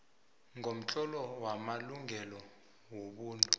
komtlolo wamalungelo wobuntu